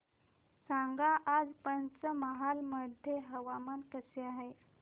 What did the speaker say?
सांगा आज पंचमहाल मध्ये हवामान कसे आहे